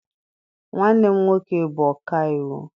Nwanne m nwoke bụ ọka iwu.